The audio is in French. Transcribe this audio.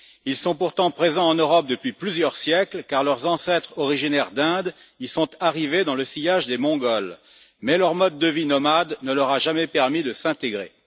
Ils sont pourtant présents en Europe depuis plusieurs siècles, car leurs ancêtres originaires de l'Inde y sont arrivés dans le sillage des Mongols, mais leur mode de vie nomade ne leur a jamais permis de s'intégrer.